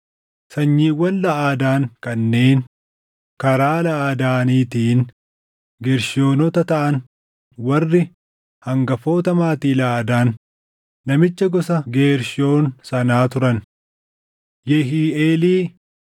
Sanyiiwwan Laʼadaan kanneen karaa Laʼadaaniitiin Geershoonota taʼan warri hangafoota maatii Laʼadaan namicha gosa Geershoon sanaa turan: Yehiiʼeelii,